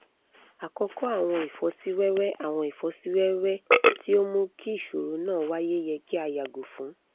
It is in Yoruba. akọkọ awọn ifọsiwẹwẹ awọn ifọsiwẹwẹ ti o mu ki iṣoro naa waye yẹ ki a yago fun